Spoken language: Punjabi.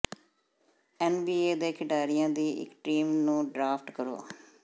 ਐਨਬੀਏ ਦੇ ਖਿਡਾਰੀਆਂ ਦੀ ਇੱਕ ਟੀਮ ਨੂੰ ਡ੍ਰਾਫਟ ਕਰੋ